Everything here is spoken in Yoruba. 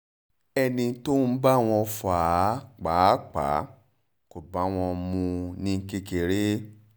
ẹni tó ń bá wọn fà á pàápàá kò bá wọn mu ún ní kékeré